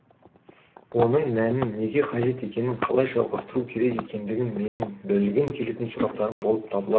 оның мәнін неге қажет екенін қалай жалғастыру керек екендігі менің білгім келетін сұрақтарым болып табылады